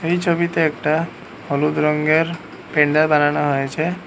এই ছবিতে একটা হলুদ রঙের প্যান্ডেল বানানো হয়েছে।